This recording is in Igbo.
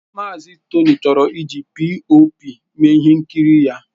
Mazị Tony chọrọ iji POP mee ihe nkiri ya.